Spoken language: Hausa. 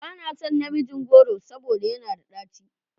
Ba na son namijin goro saboda yana da ɗaci.